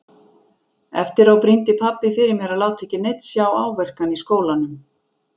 Eftir á brýndi pabbi fyrir mér að láta ekki neinn sjá áverkann í skólanum.